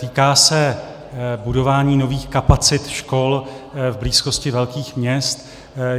Týká se budování nových kapacit škol v blízkosti velkých měst.